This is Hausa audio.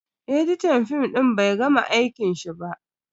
Editan fim din bai gama aikin shi ba.